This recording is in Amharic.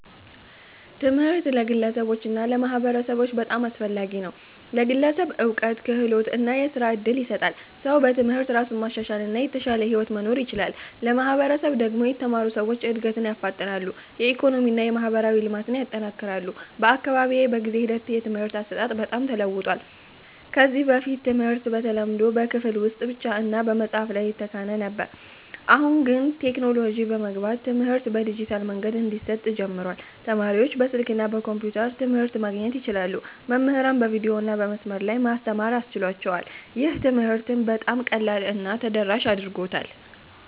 ትምህርት ለግለሰቦች እና ለማህበረሰቦች በጣም አስፈላጊ ነው። ለግለሰብ እውቀት፣ ክህሎት እና የሥራ እድል ይሰጣል። ሰው በትምህርት እራሱን ማሻሻል እና የተሻለ ሕይወት መኖር ይችላል። ለማህበረሰብ ደግሞ የተማሩ ሰዎች እድገትን ያፋጥናሉ፣ የኢኮኖሚ እና የማህበራዊ ልማትን ያጠናክራሉ። በአካባቢዬ በጊዜ ሂደት የትምህርት አሰጣጥ በጣም ተለውጧል። ከዚህ በፊት ትምህርት በተለምዶ በክፍል ውስጥ ብቻ እና በመጽሐፍ ላይ ይተካል ነበር። አሁን ግን ቴክኖሎጂ በመግባት ትምህርት በዲጂታል መንገዶች እንዲሰጥ ጀምሯል። ተማሪዎች በስልክ እና በኮምፒውተር ትምህርት ማግኘት ይችላሉ፣ መምህራንም በቪዲዮ እና በመስመር ላይ መማር ያስችላቸዋል። ይህ ትምህርትን በጣም ቀላል እና ተደራሽ አድርጎታል።